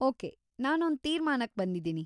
Okay, ನಾನೊಂದ್ ತೀರ್ಮಾನಕ್ ಬಂದಿದೀನಿ.